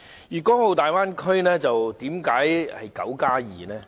為何說大灣區是 "9+2" 呢？